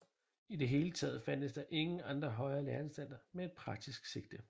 I det hele taget fandtes der ingen andre højere læreanstalter med et praktisk sigte